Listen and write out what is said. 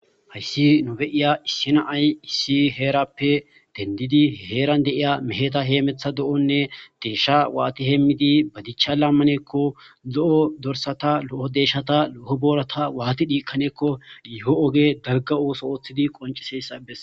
hayssi nube7iya issina ay issi heerappe dendidi heeran deiya meheta heemetha do7onne deeshsha waati hemmidi ba dichcha lammaneekko zo7o dorsata lo7o deshshata lo7o boorata waati diikkaneekko diiho oge dagga7osoooththidi qonciseyssabes